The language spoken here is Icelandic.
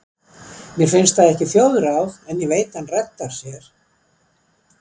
Mér finnst það ekki þjóðráð, en ég veit hann reddar sér.